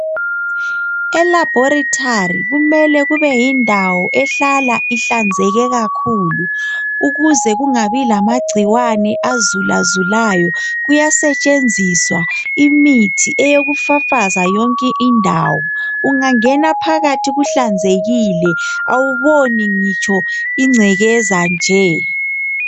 Elabhorithari kumele kube yindawo ehlala ihlanzeke kakhulu ukuze kungabi lamagcikwane azulazulayo . Kuyasetshenziswa imithi yokufafaza yonke indawo. Ungangena phakathi kuhlanzekile awuboni ngitsho ingcekeza nje.